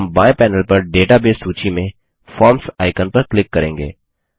हम बाएँ पैनेल पर डेटाबेस सूची में फॉर्म्स आइकन पर क्लिक करेंगे